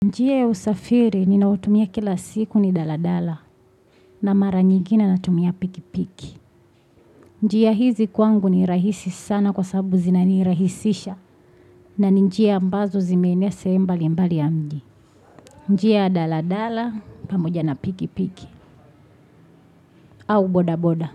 Njia ya usafiri ninaotumia kila siku ni daladala na mara nyingine natumia pikipiki. Njia hizi kwangu ni rahisi sana kwa sababu zinanirahisisha na njia ambazo zimeenea sehemu mbali mbali ya mji. Njia ya daladala pamoja na pikipiki au boda boda.